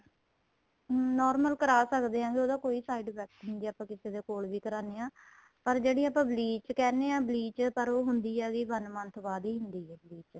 normal ਕਰਾ ਸਕਦੇ ਹਾਂ ਕੇ ਉਹਦਾ ਕੋਈ side effect ਨਹੀਂ ਕੇ ਆਪਾਂ ਕਿਸੇ ਦੇ ਕੋਲ ਵੀ ਕਰਾਨੇ ਆਂ ਪਰ ਜਿਹੜੀ ਆਪਾਂ bleach ਕਹਿਣੇ ਹਾਂ bleach ਪਰ ਉਹ ਹੁੰਦੀ ਏ ਵੀ one month ਬਾਅਦ ਹੀ ਹੁੰਦੀ ਏ bleach